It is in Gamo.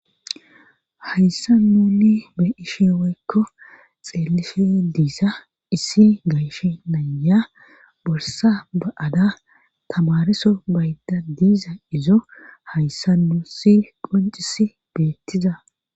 hayssa nuni be ishi weykko xeelishe diisa issi gayshe naya borsa ba7ada tamariso bayda diiza izo hayssa nusi qoncisi beettiza